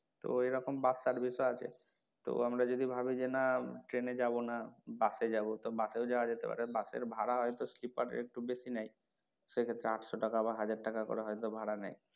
তো এরকম bus service ও আছে তো আমরা যদি ভাবি যে না train এ যাবো না bus এ যাবো তো bus এও যাওয়া যেতে পারে bus এর ভাড়া হয়তো sleeper এ একটু বেশি নেয় সেক্ষেত্রে আটশো টাকা বা হাজার টাকা করে হয়তো ভাড়া নেয়,